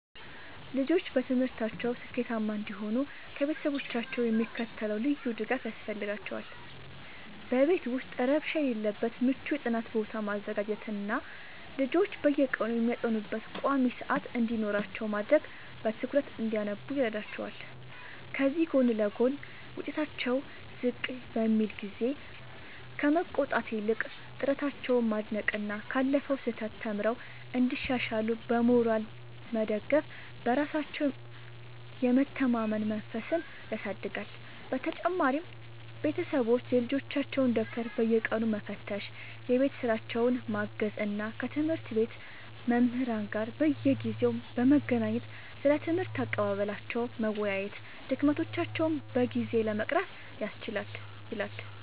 ልጆች በትምህርታቸው ስኬታማ እንዲሆኑ ከቤተሰቦቻቸው የሚከተለው ልዩ ድጋፍ ያስፈልጋቸዋል፦ በቤት ውስጥ ረብሻ የሌለበት ምቹ የጥናት ቦታ ማዘጋጀትና ልጆች በየቀኑ የሚያጠኑበት ቋሚ ሰዓት እንዲኖራቸው ማድረግ በትኩረት እንዲያነቡ ይረዳቸዋል። ከዚህ ጎን ለጎን፣ ውጤታቸው ዝቅ በሚልበት ጊዜ ከመቆጣት ይልቅ ጥረታቸውን ማድነቅና ካለፈው ስህተት ተምረው እንዲሻሻሉ በሞራል መደገፍ በራሳቸው የመተማመን መንፈስን ያሳድጋል። በመጨረሻም ቤተሰቦች የልጆቻቸውን ደብተር በየቀኑ መፈተሽ፣ የቤት ሥራቸውን ማገዝ እና ከትምህርት ቤት መምህራን ጋር በየጊዜው በመገናኘት ስለ ትምህርት አቀባበላቸው መወያየት ድክመቶቻቸውን በጊዜ ለመቅረፍ ያስችላል።